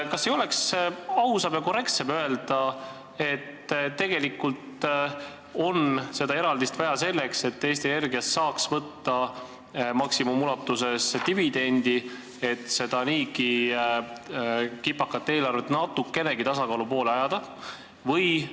Kas ei oleks ausam ja korrektsem öelda, et tegelikult on seda eraldist vaja selleks, et Eesti Energiast saaks võtta maksimumulatuses dividendi, et seda niigi kipakat eelarvet natukenegi tasakaalu poole ajada?